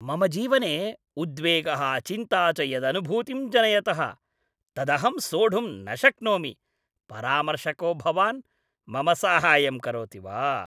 मम जीवने उद्वेगः चिन्ता च यदनुभूतिं जनयतः तदहं सोढुं न शक्नोमि परामर्शको भवान् मम साहाय्यं करोति वा?